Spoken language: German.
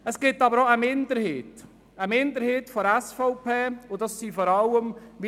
Es gibt aber auch eine Minderheit in der SVP, die das Eintreten befürwortet.